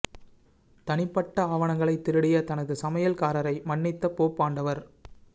தனிப்பட்ட ஆவணங்களை திருடிய தனது சமையல் காரரை மன்னித்த போப் ஆண்டவர்